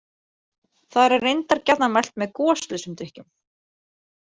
Þar er reyndar gjarnan mælt með goslausum drykkjum.